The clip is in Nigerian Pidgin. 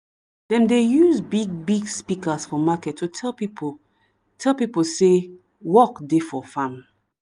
dem dey use big big speakers for market to tell pipo tell pipo say work dey for farm.